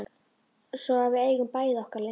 Svo að við eigum bæði okkar leyndarmál.